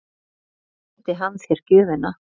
Ekki sýndi hann þér gjöfina?